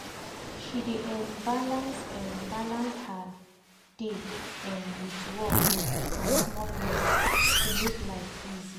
she dey um balance um her day um wit work and small rest to make life easy.